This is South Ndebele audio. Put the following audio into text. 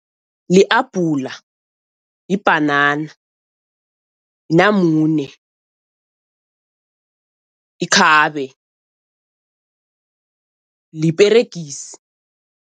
Li-abhula, yibhanana, namune, ikhabe, liperegisi.